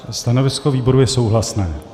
Stanovisko výboru je souhlasné.